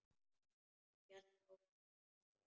Ég hélt áfram að stela.